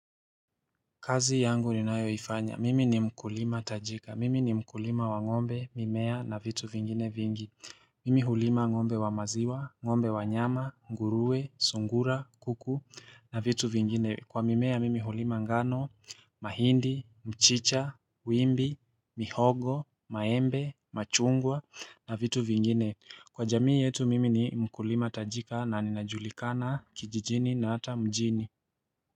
Kazi yangu ni nayoifanya, mimi ni mkulima tajika, mimi ni mkulima wangombe, mimea na vitu vingine vingi Mimi hulima ngombe wamaziwa, ngombe wanyama, nguruwe, sungura, kuku na vitu vingine Kwa mimea mimi hulima ngano, mahindi, mchicha, wimbi, mihogo, maembe, machungwa na vitu vingine Kwa jamii yetu mimi ni mkulima tajika na ninajulikana kijijini na hata mjini.